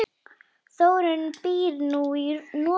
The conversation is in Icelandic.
Þórunn býr nú í Noregi.